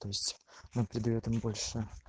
то есть нам придаёт он больше